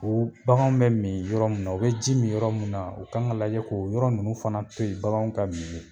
O bagan bɛ min yɔrɔ min na u bɛ ji min yɔrɔ min na u kan ka lajɛ k'o yɔrɔ ninnu fana to yen baganw ka min yen